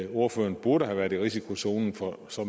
ordføreren burde have været i risikozonen for så